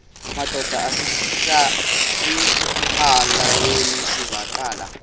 madod asesihialweni sivaqal